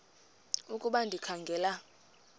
ukuba ndikha ngela